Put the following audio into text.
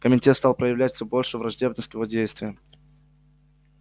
комитет стал проявлять все большую враждебность к его действиям